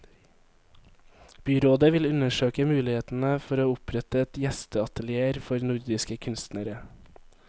Byrådet vil undersøke mulighetene for å opprette et gjesteatelier for nordiske kunstnere.